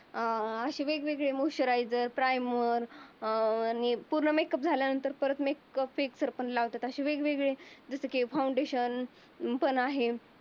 अं अशा वेगवेगळ्या moisturizer primer अं पूर्ण मेकअप झाल्यानंतर परत मेकअप फ्रेशर पण लावतात. अशी वेगवेगळी जस की फाउंडेशन पण आहे.